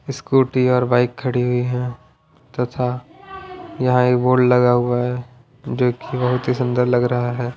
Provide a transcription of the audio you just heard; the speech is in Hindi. स्कूटी और बाइक खड़ी हुई हैं तथा यहाँ एक बोर्ड लगा हुआ हैं जो कि बहुत ही सुंदर लग रहा हैं ।